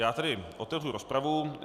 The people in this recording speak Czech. Já tedy otevřu rozpravu.